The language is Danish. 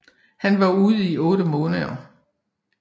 Han var ude i otte måneder